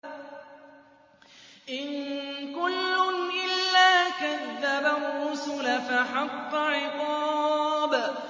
إِن كُلٌّ إِلَّا كَذَّبَ الرُّسُلَ فَحَقَّ عِقَابِ